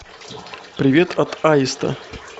привет от аиста